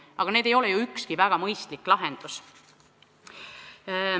Aga need ei ole ju ükski mõistlik lahendus.